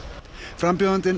frambjóðandinn